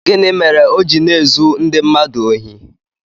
Gịnị mere o ji na-ezu ndị mmadụ ohi?